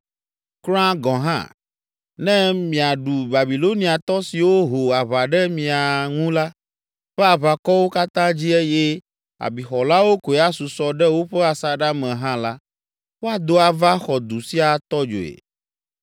Kura gɔ̃ hã, ne miaɖu Babiloniatɔ siwo ho aʋa ɖe mia ŋu la ƒe aʋakɔwo katã dzi eye abixɔlawo koe asusɔ ɖe woƒe asaɖa me hã la, woado ava xɔ du sia atɔ dzoe.”